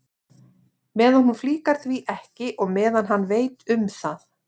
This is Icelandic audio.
Meðan hún flíkar því ekki og meðan hann veit um það.